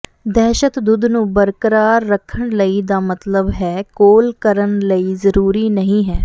ਦਹਿਸ਼ਤ ਦੁੱਧ ਨੂੰ ਬਰਕਰਾਰ ਰੱਖਣ ਲਈ ਦਾ ਮਤਲਬ ਹੈ ਕੋਲ ਕਰਨ ਲਈ ਜ਼ਰੂਰੀ ਨਹੀ ਹੈ